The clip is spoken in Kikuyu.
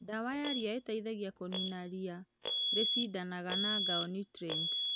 Dawa ya riia ĩteithagia kũnina riia rĩcidanaga na ngao niutrienti.